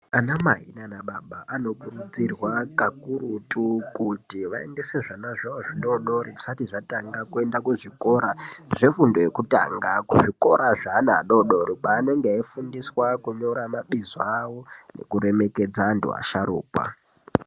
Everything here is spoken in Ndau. Ana mai nana baba anokurudzirwa kakurutu kuti vaendese zvana zvawo zvidodori zvisati zvatanga kuenda kuzvikora zvefundo yekutanga kuzvikora zvevana vadodori kwanenge eifundiswa kunyora mabizo awo nekuremekedza antu asharukwa.